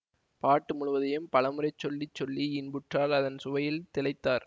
பாட்டு முழுவதையும் பலமுறை சொல்லி சொல்லி இன்புற்றார் அதன் சுவையில் திளைத்தார்